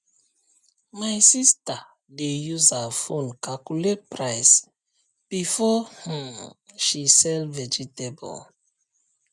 my sister dey use her phone calculate price before um she sell vegetable